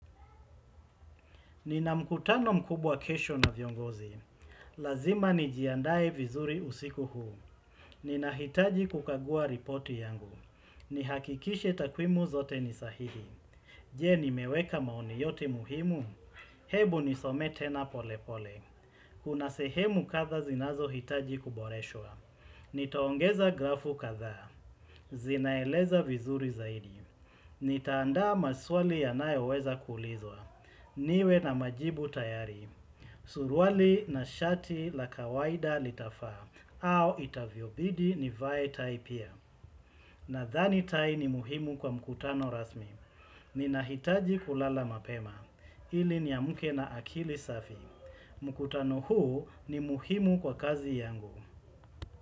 Nina mkutano mkubwa kesho na viongozi. Lazima nijiandae vizuri usiku huu. Ninahitaji kukagua ripoti yangu. Nihakikishe takwimu zote ni sahihi. Je nimeweka maoni yote muhimu? Hebu nisome tena pole pole. Kuna sehemu kadhaa zinazohitaji kuboreshwa. Nitaongeza grafu kadhaa. Zinaeleza vizuri zaidi. Nitaandaa maswali yanayoweza kuulizwa. Niwe na majibu tayari, suruali na shati la kawaida litafaa au itavyobidi nivae tai pia Nadhani tai ni muhimu kwa mkutano rasmi Ninahitaji kulala mapema, ili niamke na akili safi mkutano huu ni muhimu kwa kazi yangu.